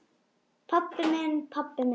Pabbi minn, pabbi minn!